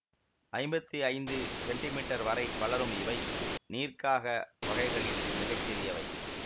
ஐம்பத்தி ஐந்து centimetre வரை வளரும் இவை நீர்க்காக வகைகளில் மிகச்சிறியவை